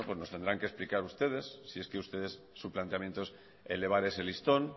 bueno pues nos tendrán que explicar ustedes si es que ustedes su planteamiento es elevar ese listón